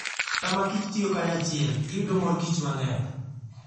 Sam kich tiyo kanyachiel, giyudo morkich mang'eny .